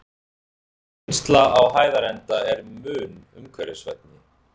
Vinnslan á Hæðarenda er mun umhverfisvænni.